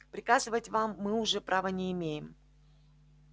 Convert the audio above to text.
приказывать вам мы уже права не имеем